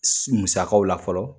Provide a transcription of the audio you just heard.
S musakaw la fɔlɔ.